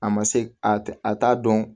A ma se a t'a dɔn